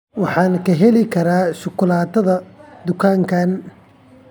Waxaan ka heli karaa shukulaatada dukaankan.